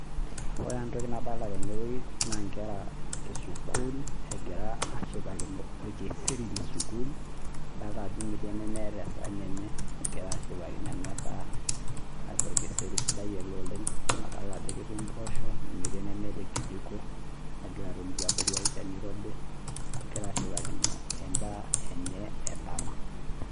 Ore etoki nadolita tene wueji naa nkera esuukul, egira ashipakino orkiseri le sukuul. Nadolita ajo metii enemeeta esahani enye egira ashipakino ena daa. Naa orkiseri ele sidai oleng, amu adol ajo ketii ipoosho, nemetii enemeeta ekijiko. Egira atoni tiabori olchani oirobi, egira ashipakino endaa enye endama.